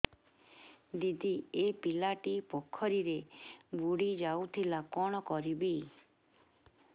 ଦିଦି ଏ ପିଲାଟି ପୋଖରୀରେ ବୁଡ଼ି ଯାଉଥିଲା କଣ କରିବି